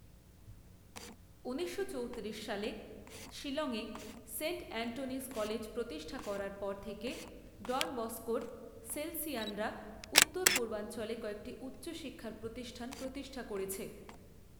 ঊনিশশো চৌত্রিশ সালে শিলংয়ে সেন্ট এন্ঠনিজ কলেজ প্রতিষ্ঠা করার পর থেকে ডন বস্কোর সেলসিয়ানরা উত্তর পূর্বাঞ্চলে কয়েকটি উচ্চ শিক্ষার প্রতিষ্ঠান প্রতিষ্ঠা করেছে।